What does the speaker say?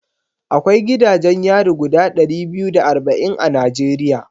Akwai gidajen yari guda ɗari biyu da arba'in a Najeriya